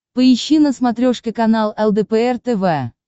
поищи на смотрешке канал лдпр тв